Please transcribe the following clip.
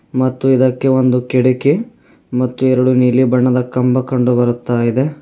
ಮತ್ತು ಇದಕ್ಕೆ ಒಂದು ಕಿಡಕಿ ಮತ್ತು ಎರಡು ನೀಲಿ ಬಣ್ಣದ ಕಂಬ ಕಂಡು ಬರುತ್ತಾ ಇದೆ.